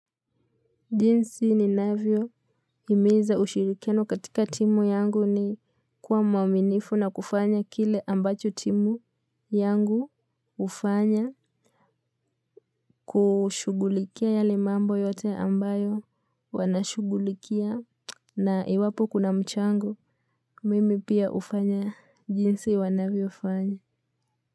Jinsi ninavyohimiza ushirikiano katika timu yangu ni kuwa mwaminifu na kufanya kile ambacho timu yangu hufanya. Kushughulikia yale mambo yote ambayo wanashughulikia na iwapo kuna mchango. Mimi pia hufanya jinsi wanavyofanya.